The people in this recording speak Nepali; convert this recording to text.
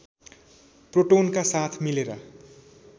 प्रोटोनका साथ मिलेर